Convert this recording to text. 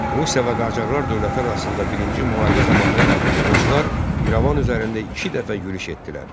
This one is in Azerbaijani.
Rusiya və Qacarlar dövlətləri arasında birinci müharibə zamanı ruslar İrəvan üzərində iki dəfə yürüş etdilər.